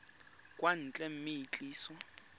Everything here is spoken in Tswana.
kwa ntle mme e tliswa